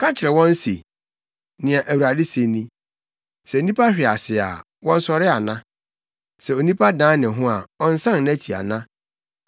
“Ka kyerɛ wɔn se, ‘Nea Awurade se ni: “ ‘Sɛ nnipa hwe ase a, wɔnsɔre ana? Sɛ onipa dan ne ho a, ɔnsan nʼakyi ana?